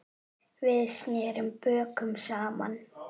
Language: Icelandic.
Við snerum bökum saman.